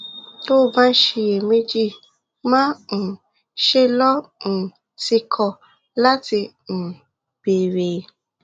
tó o bá ń ṣiyèméjì má um ṣe lọ um tìkọ̀ láti um béèrè